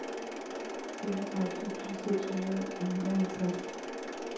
femogtredive tusind seks hundrede og nioghalvtreds